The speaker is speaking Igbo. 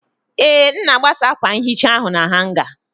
Ee, m na-agbasa akwa nhicha ahụ na hanga.